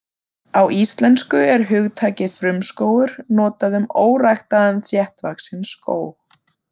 Á íslensku er hugtakið frumskógur notað um óræktaðan þéttvaxinn skóg.